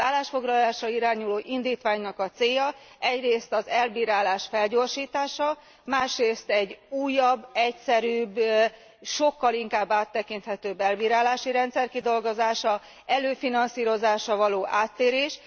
Az állásfoglalásra irányuló indítványnak a célja egyrészt az elbírálás felgyorsítása, másrészt egy újabb, egyszerűbb, sokkal inkább áttekinthető elbírálási rendszer kidolgozása, az előfinanszírozásra való áttérés.